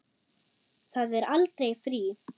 Það er aldrei frí.